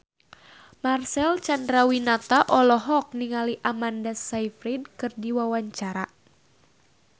Marcel Chandrawinata olohok ningali Amanda Sayfried keur diwawancara